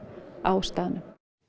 á staðnum